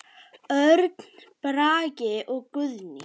Örn Bragi og Guðný.